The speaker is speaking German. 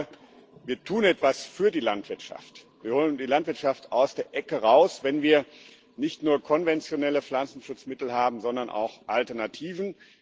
Ich glaube, wir tun etwas für die Landwirtschaft, wir holen die Landwirtschaft aus der Ecke raus, wenn wir nicht nur konventionelle Pflanzenschutzmittel haben, sondern auch Alternativen.